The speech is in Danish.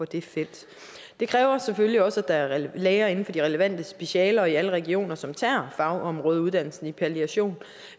det felt det kræver selvfølgelig også at der er læger inden for de relevante specialer og i alle regioner som tager fagområdeuddannelsen i palliation